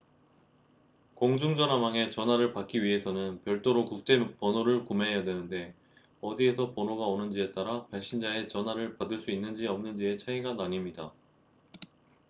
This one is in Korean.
공중전화망의 전화를 받기 위해서는 별도로 국제 번호를 구매해야 하는데 어디에서 번호가 오는지에 따라 발신자의 전화를 받을 수 있는지 없는지의 차이가 나뉩니다